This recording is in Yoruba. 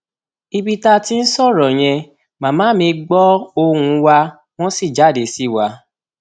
ibi táa ti ń sọrọ yẹn màmá mi gbọ ohùn wa wọn sì jáde sí wa